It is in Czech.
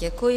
Děkuji.